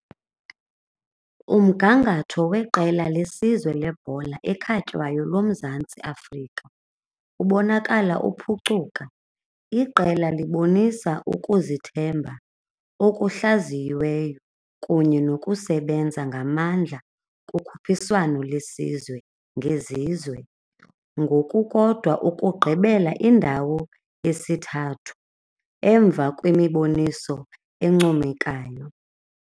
Umgangatho weqela lesizwe lebhola ekhatywayo loMzantsi Afrika ubonakala ukuphucuka, iqela libonisa ukuzithemba okuhlaziyiweyo kunye nokusebenza ngamandla kukhuphiswano lesizwe ngezizwe ngokukodwa ukugqibela indawo yesithathu emva kwemiboniso encomekayo.